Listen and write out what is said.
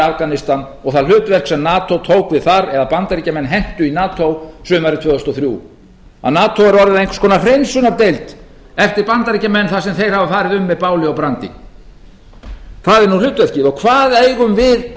afganistan og það hlutverk sem nato tók við þar eða bandaríkjamenn hentu í nato sumarið tvö þúsund og þrjú að nato er orðið að einhvers konar hreinsunardeild eftir bandaríkjamenn þar sem þeir hafa farið um með báli og brandi það er nú hlutverkið og hvað eigum við